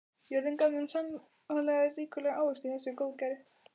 Jörðin gaf þeim sannarlega ríkulega ávexti í þessu góðæri.